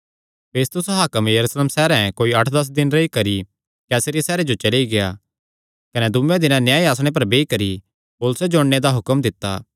फेस्तुस हाकम यरूशलेम सैहरे कोई अठ दस दिन रेई करी कैसरिया सैहरे जो चली गेआ कने दूये दिने न्याय आसणे पर बेई करी पौलुसे जो अणने दा हुक्म दित्ता